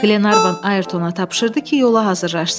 Glenarvan Ayrtona tapşırdı ki, yola hazırlaşsın.